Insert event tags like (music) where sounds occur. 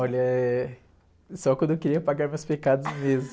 Olha, eh, só quando eu queria pagar meus pecados mesmo. (laughs)